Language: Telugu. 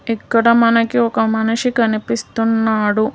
ఇక్కడ మనకి ఒక మనిషి కనిపిస్తున్నాడు.